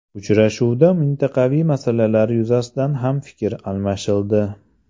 Uchrashuvda mintaqaviy masalalar yuzasidan ham fikr almashildi.